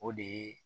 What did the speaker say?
O de ye